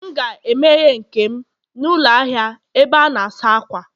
M ga-emeghe nke m n'ụlọ ahịa ebe a na-asa ákwà